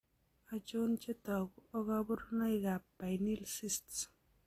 Achon chetogu ak kaborunoik ab pineal cysts